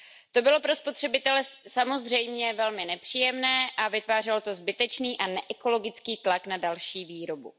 To bylo pro spotřebitele samozřejmě velmi nepříjemné a vytvářelo to zbytečný a neekologický tlak na další výrobu.